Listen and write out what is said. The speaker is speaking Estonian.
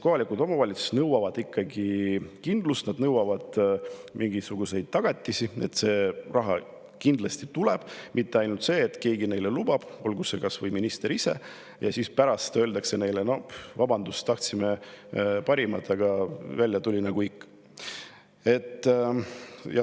Kohalikud omavalitsused ikkagi kindlust, nad mingisuguseid tagatisi, et see raha kindlasti tuleb, mitte nii, et keegi lubab neile, olgu see kas või minister ise, ja siis pärast öeldakse: vabandust, tahtsime parimat, aga välja tuli nagu ikka.